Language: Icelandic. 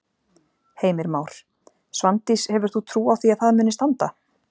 Heimir Már: Svandís hefur þú trú á því að það muni standa?